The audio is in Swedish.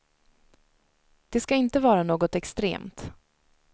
Det ska inte vara något extremt.